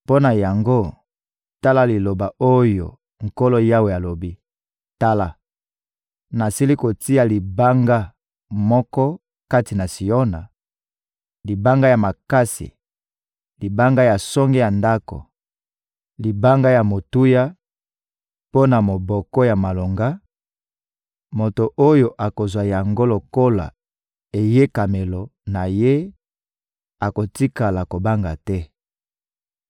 Mpo na yango, tala liloba oyo Nkolo Yawe alobi: «Tala, nasili kotia libanga moko kati na Siona, libanga ya makasi, libanga ya songe ya ndako, libanga ya motuya mpo na moboko ya malonga; moto oyo akozwa yango lokola eyekamelo na ye akotikala kobanga te.